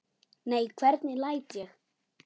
Nei, hvernig læt ég?